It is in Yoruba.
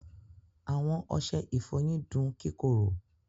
Àwọn ọṣẹ̀-ìfọ́yin dùn kíkòrò.